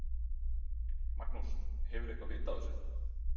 Magnús: Hefurðu eitthvað vit á þessu?